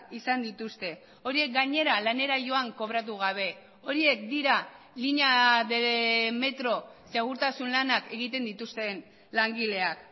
izan dituzte horiek gainera lanera joan kobratu gabe horiek dira línea de metro segurtasun lanak egiten dituzten langileak